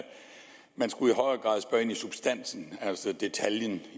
man i substansen altså detaljen